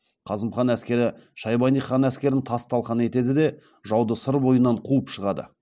қасым хан әскері шайбани хан әскерін тас талқан етеді де жауды сыр бойынан қуып шығады